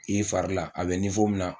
i farila a bɛ min na